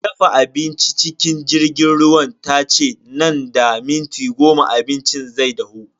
Me dafa abincin cikin jirgin ruwan tace nan da minti goma abincin zai dahu.